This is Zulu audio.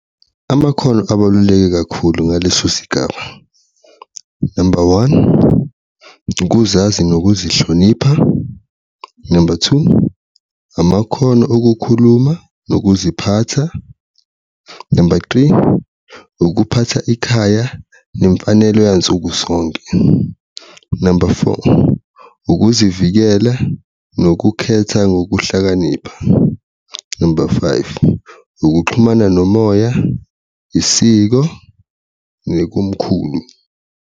Amakhono abaluleke kakhulu ngaleso sigaba, number one, ukuzazi nokuzihlonipha, number two, amakhono okukhuluma nokuziphatha, number three, ukuphatha ikhaya wemfanelo yansuku sonke, number four, ukuzivikela nokukhetha ngokuhlakanipha, number five, ukuxhumana nomoya, isiko, nokomkhulu.